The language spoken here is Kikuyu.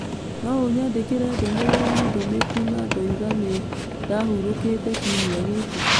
No ũnyandĩkĩre ndũmĩrĩri ndũmĩku na ndoiga nĩ ndahurũkĩte kiumia gĩkĩ.